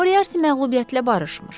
Moriarti məğlubiyyətlə barışmır.